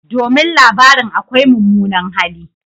Domin labarin akwai mummunan hali.